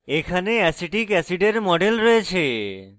এখানে অ্যাসিটিক অ্যাসিডের model রয়েছে